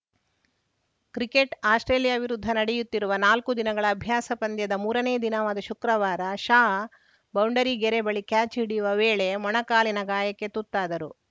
cricket Australia ವಿರುದ್ಧ ನಡೆಯುತ್ತಿರುವ ನಾಲ್ಕು ದಿನಗಳ ಅಭ್ಯಾಸ ಪಂದ್ಯದ ಮೂರನೇ ದಿನವಾದ ಶುಕ್ರವಾರ ಶಾ ಬೌಂಡರಿ ಗೆರೆ ಬಳಿ ಕ್ಯಾಚ್‌ ಹಿಡಿಯುವ ವೇಳೆ ಮೊಣಕಾಲಿನ ಗಾಯಕ್ಕೆ ತುತ್ತಾದರು